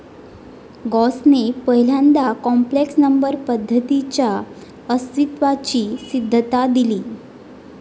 गौसने पहिल्यांदा complex number पद्धतीच्या अस्तित्वाची सिद्धता दिली.